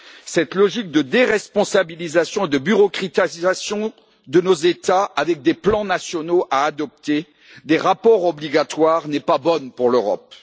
Cette logique de déresponsabilisation et de bureaucratisation de nos États avec des plans nationaux à adopter et des rapports obligatoires n'est pas bonne pour l'Europe.